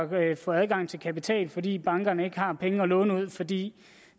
ved at få adgang til kapital fordi bankerne ikke har penge at låne ud fordi